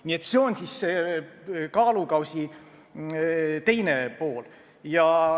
Nii et see on teisel kaalukausil.